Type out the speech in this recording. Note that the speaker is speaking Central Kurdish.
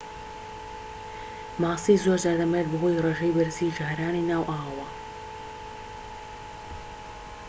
ماسی زۆرجار دەمرێت بەهۆی ڕێژەی بەرزی ژەهرەانی ناو ئاوەوە